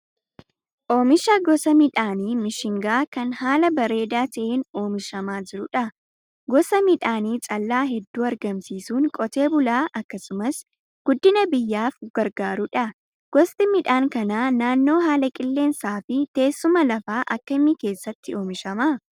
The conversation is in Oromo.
Oomisha gosa midhaanii mishingaa kan haala bareedaa ta'een oomishamaa jirudha. Gosa midhaanii callaa hedduu argamsiisuun qotee bulaa akkasumas guddina biyyaaf gargaarudha. Gosti midhaan kanaa naannoo haala qilleensaa fi teessuma lafaa akkamii keessatti oomishama?